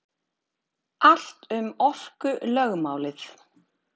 Allt um orkulögmálið.